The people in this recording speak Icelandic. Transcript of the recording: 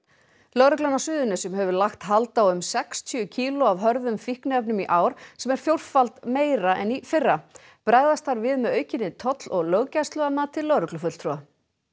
lögreglan á Suðurnesjum hefur lagt hald á um sextíu kíló af hörðum fíkniefnum í ár sem er fjórfalt meira en í fyrra bregðast þarf við með aukinni toll og löggæslu að mati lögreglufulltrúa